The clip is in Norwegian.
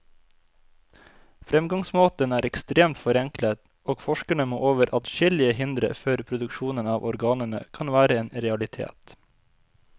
Fremgangsmåten er ekstremt forenklet, og forskerne må over adskillige hindre før produksjon av organene kan være en realitet.